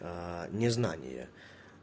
незнание